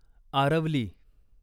Aravali